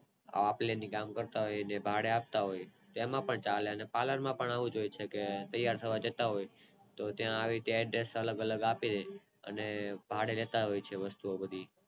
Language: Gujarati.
આપ લે નું કામ કરતા હોય જ ભાડે આપતા હોય તેમાં પણ ચાલે અને પાલર માં પણ આવું જ હોય છે કે તૈયાર થવા જતા હોય છે તો ત્યાં આવી રીતે Adhersh આપી દેતા હોય છે અને ભાડે લેતા હોય છે લોકો